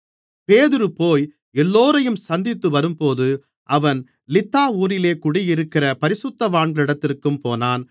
பேதுரு போய் எல்லோரையும் சந்தித்துவரும்போது அவன் லித்தா ஊரிலே குடியிருக்கிற பரிசுத்தவான்களிடத்திற்கும் போனான்